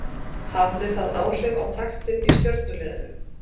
Hafði það áhrif á taktinn í Stjörnuliðinu?